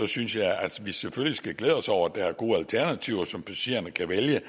synes jeg at vi selvfølgelig skal glæde os over at der er gode alternativer som passagererne kan vælge